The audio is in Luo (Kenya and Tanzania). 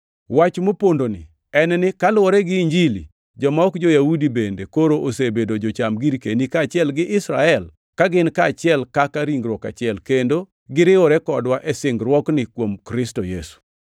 Wach mopondoni en ni kaluwore gi Injili, joma ok jo-Yahudi bende koro osebedo jocham girkeni kaachiel gi Israel, ka gin kaachiel kaka ringruok achiel, kendo giriwore kodwa e singruokni kuom Kristo Yesu.